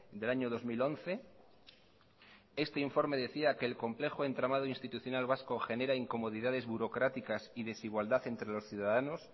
del año dos mil once este informe decía que el complejo entramado institucional vasco genera incomodidades burocráticas y desigualdad entre los ciudadanos